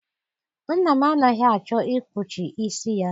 Nna m anaghị achọ ikpuchi isi ya.